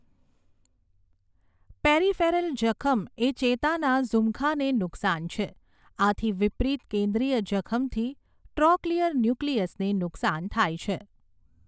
Peripheral જખમ એ ચેતાના ઝૂમખાને નુકસાન છે, આથી વિપરીત કેન્દ્રીય જખમથી ટ્રોક્લિયર ન્યુક્લિયસને નુકસાન છે.